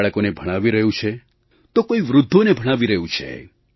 કોઈ બાળકોને ભણાવી રહ્યું છે તો કોઈ વૃદ્ધોને ભણાવી રહ્યું છે